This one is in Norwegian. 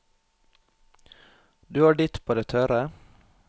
Du har ditt på det tørre.